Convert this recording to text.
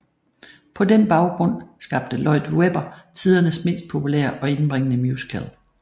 På den baggrund skabte Lloyd Webber tidernes mest populære og indbringende musical